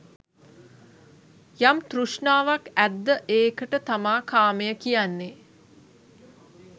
යම් තෘෂ්ණාවක් ඇද්ද ඒකට තමා කාමය කියන්නේ.